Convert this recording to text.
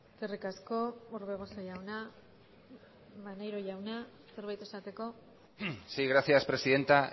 eskerrik asko orbegozo jauna maneiro jauna zerbait esateko sí gracias presidenta